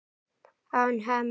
án Hemma.